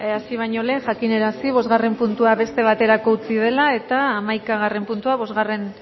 hasi baino lehen jakinarazi bosgarren puntua beste baterako utzi dela eta hamaikagarren puntua bosgarren